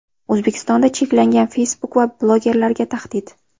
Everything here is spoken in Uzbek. O‘zbekistonda cheklangan Facebook va blogerlarga tahdid.